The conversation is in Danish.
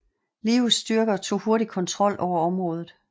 Lius styrker tog hurtigt kontrol over området